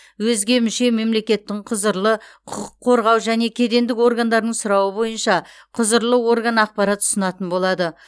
өзге мүше мемлекеттің құзырлы құқық қорғау және кедендік органдарының сұрауы бойынша құзырлы орган ақпарат ұсынатын болады